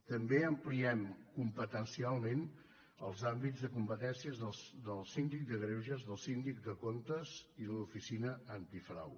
també ampliem competencialment els àmbits de competència del síndic de greuges del síndic de comptes i de l’oficina antifrau